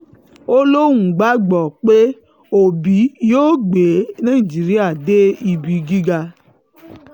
ó lóun gbàgbọ́ pé òbí yóò gbé nàìjíríà dé ibi gíga